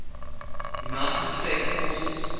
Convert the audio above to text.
united states forces